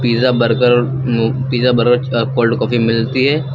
Pizza burger और उम्म pizza burger के साथ कोल्ड कॉफी मिलती है।